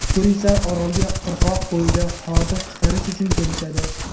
Turistlar orolga qirg‘oq bo‘yida hordiq chiqarish uchun kelishadi.